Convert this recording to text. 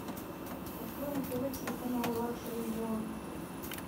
открой на тв телеканал лакшери ворлд